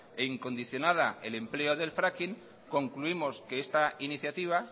e incondicionada el empleo del fracking concluimos que esta iniciativa